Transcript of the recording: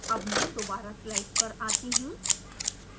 अब मैं दोबारा स्लाइड्स पर आती हूँ